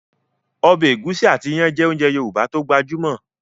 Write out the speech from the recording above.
Ọbẹ̀ ẹ̀gúsí àti iyán jẹ́ ounjẹ Yorùbá tó gbajúmọ̀